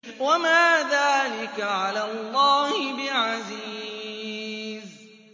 وَمَا ذَٰلِكَ عَلَى اللَّهِ بِعَزِيزٍ